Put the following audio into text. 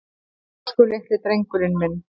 Elsku litli drengurinn minn.